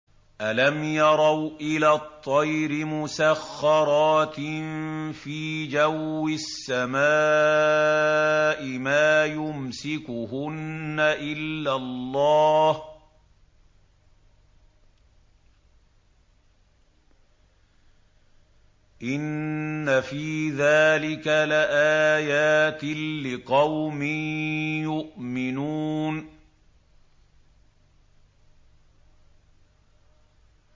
أَلَمْ يَرَوْا إِلَى الطَّيْرِ مُسَخَّرَاتٍ فِي جَوِّ السَّمَاءِ مَا يُمْسِكُهُنَّ إِلَّا اللَّهُ ۗ إِنَّ فِي ذَٰلِكَ لَآيَاتٍ لِّقَوْمٍ يُؤْمِنُونَ